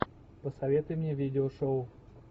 посоветуй мне видеошоу